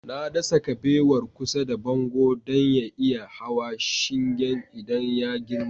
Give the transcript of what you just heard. Na dasa kabewar kusa da bango don ya iya hawa shingen idan ya girma